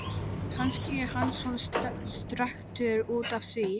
Kannski er hann svona strekktur út af því.